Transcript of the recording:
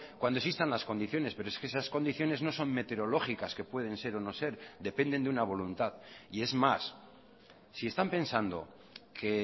cuando existan las condiciones pero es que esas condiciones no son meteorológicas que pueden ser o no ser dependen de una voluntad y es más si están pensando que